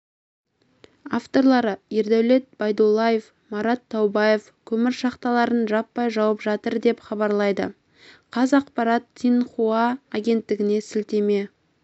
авторлары ердәулет байдуллаев марат таубаев көмір шахталарын жаппай жауып жатыр деп хабарлайды қазақпарат синьхуа агенттігіне сілтеме